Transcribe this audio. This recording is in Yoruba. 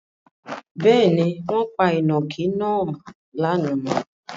Bẹ́ẹ̀ni, wọ́n pa ìnàkí náà lánàá.